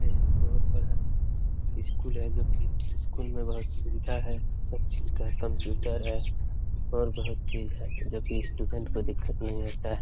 एक बहुत बड़ा स्कूल है जो की स्कूल में बहुत सुविधा है सब चीज का कंप्यूटर है और बहुत चीज है जो की स्टूडेंट को दिक्कत नहीं होता है।